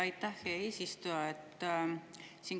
Aitäh, hea eesistuja!